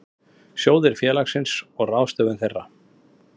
Sjóðir félagsins og ráðstöfun þeirra.